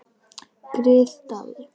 Grið Daði!